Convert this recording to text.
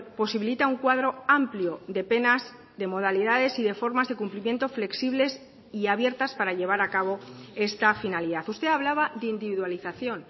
posibilita un cuadro amplio de penas de modalidades y de formas de cumplimiento flexibles y abiertas para llevar a cabo esta finalidad usted hablaba de individualización